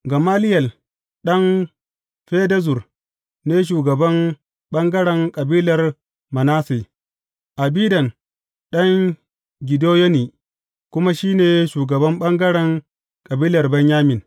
Gamaliyel ɗan Fedazur ne shugaban ɓangaren kabilar Manasse, Abidan ɗan Gideyoni kuma shi ne shugaban ɓangaren kabilar Benyamin.